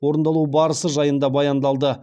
орындалу барысы жайында баяндалды